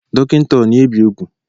Dokinta a, o na-ebe ugwu?